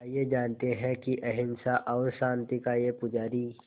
आइए जानते हैं कि अहिंसा और शांति का ये पुजारी